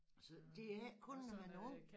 Så det er ikke kun når man er ung